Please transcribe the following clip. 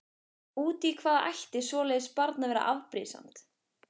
Út í hvað ætti svoleiðis barn að vera afbrýðisamt?